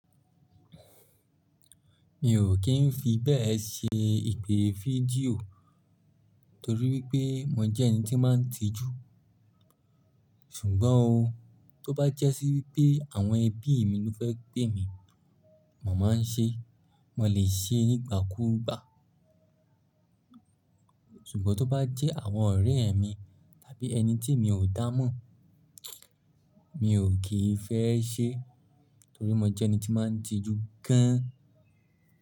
Mi ò kí ń fi bẹ́ẹ̀ ṣe ìpè fídíò torí wípé mo jẹ́ ẹni tí máa ń tijú. Ṣùgbọ́n o, tó bá jẹ́sí wípé àwọn ẹbí mi ló fẹ́ pé mi, màá máa ń ṣe. Mo lè ṣe nígbà kúù gba Ṣùgbọ́n tó bá jẹ́ àwọn ọ̀rẹ́ mi tàbí ẹni tí mi ò dá mọ̀, mi ò kì í fẹ́ ṣe torí mo jẹ́ ẹni tí máa ń tijú gan.